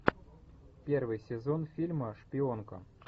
первый сезон фильма шпионка